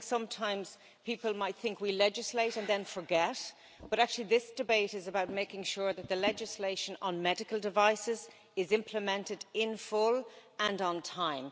I think sometimes people might think we legislate and then forget, but actually this debate is about making sure that the legislation on medical devices is implemented in full, and on time.